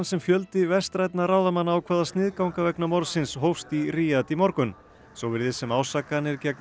sem fjöldi vestrænna ráðamanna ákvað að sniðganga vegna morðsins hófst í Ríad í morgun svo virðist sem ásakanir gegn